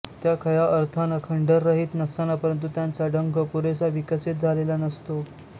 त्या खया अर्थानं डंखरहित नसतात परंतु त्यांचा डंख पुरेसा विकसित झालेला नसतो